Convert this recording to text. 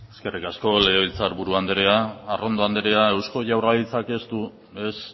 eskerrik asko legebiltzar buru anderea arrondo anderea eusko jaurlaritzak ez du ez